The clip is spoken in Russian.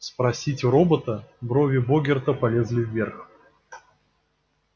спросить у робота брови богерта полезли вверх